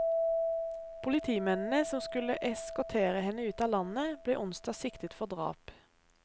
Politimennene som skulle eskortere henne ut av landet, ble onsdag siktet for drap.